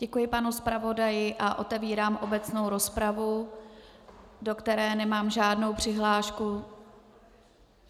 Děkuji panu zpravodaji a otevírám obecnou rozpravu - do které nemám žádnou přihlášku?